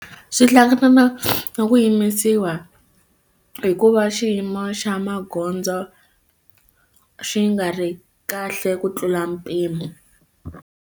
Swi hlangana na na ku yimisiwa hikuva xiyimo xa magondzo xi nga ri kahle ku tlula mpimo.